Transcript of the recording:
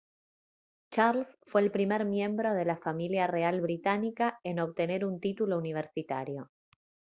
charles fue el primer miembro de la familia real británica en obtener un título universitario